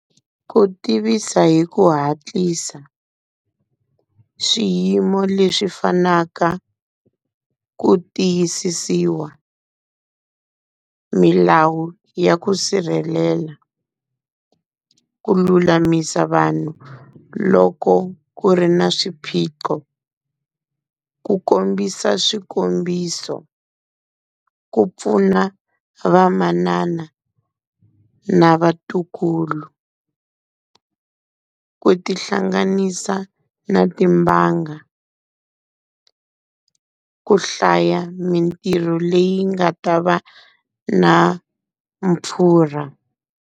Ku tivisa hi ku hatlisa swiyimo leswi fanaka, ku tiyisisiwa milawu ya ku sirhelela, ku lulamisa vanhu loko ku ri na swiphiqo, ku kombisa swikombiso, ku pfuna vamanana na vatukulu, ku ti hlanganisa na timbanga, ku hlaya mintirho leyi nga ta va na mpfurha.